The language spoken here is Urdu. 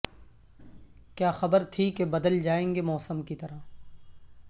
کیا خبر تھی کہ بدل جائیں گے موسم کی طرح